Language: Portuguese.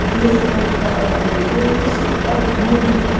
De vez em quando ela vai me ver e isso me dói muito.